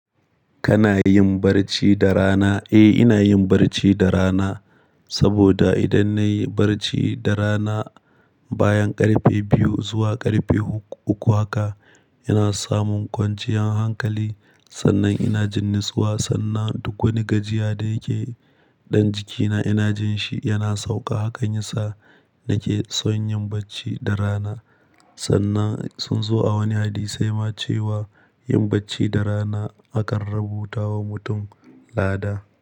Kana yin barci da rana? Eh, ina yin barci da rana. Saboda idan nayi barci da rana bayan ƙarfe biyu zuwa ƙarfe uku haka, ina samun kwanciyar hankali. Sannan ina jin natsuwa, sannan duk wani gajiya da yake dan jikina ina jin shi yana sauka. Hakan yasa nake so yin bacci da rana. Sannan sun zo a wani hadi sai ma cewa yin bacii da rana akan rubuta wa mutum lada.